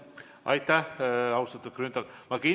Aitäh, austatud Grünthal!